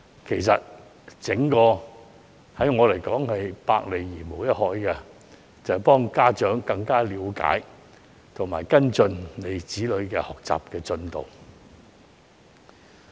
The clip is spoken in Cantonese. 其實，安裝 CCTV 對我來說是百利而無一害，只是幫助家長更了解及跟進子女的學習進度而已。